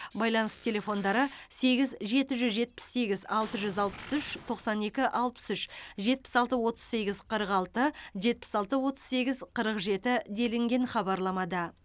байланыс телефондары сегіз жеті жүз жетпіс сегіз алты жүз алпыс үш тоқсан екі алпыс үш жетпіс алты отыз сегіз қырық алты жетпіс алты отыз сегіз қырық жеті делінген хабарламада